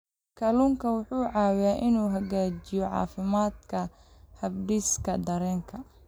Kalluunku wuxuu caawiyaa inuu hagaajiyo caafimaadka habdhiska dareenka.